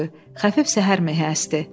Xəfif səhər mehi əsdi.